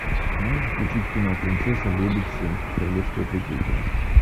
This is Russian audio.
можешь включить кино принцесса лебедь семь королевское прикрытие